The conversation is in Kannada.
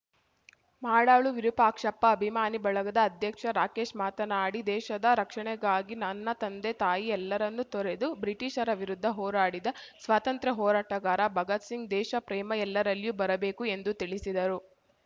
ಮಾಡಾಳು ವಿರೂಪಾಕ್ಷಪ್ಪ ಅಭಿಮಾನಿ ಬಳಗದ ಅಧ್ಯಕ್ಷ ರಾಕೇಶ್‌ ಮಾತನಾಡಿ ದೇಶದ ರಕ್ಷಣೆಗಾಗಿ ನನ್ನ ತಂದೆತಾಯಿ ಎಲ್ಲರನ್ನು ತೊರೆದು ಬ್ರಿಟೀಷರ ವಿರುದ್ದ ಹೋರಾಡಿದ ಸ್ವಾತಂತ್ರ್ಯ ಹೋರಾಟಗಾರ ಭಗತ್‌ಸಿಂಗ್‌ ದೇಶ ಪ್ರೇಮ ಎಲ್ಲರಲ್ಲಿಯೂ ಬರಬೇಕು ಎಂದು ತಿಳಿಸಿದರು